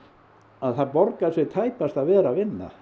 það borgar sig tæpast að vera að vinna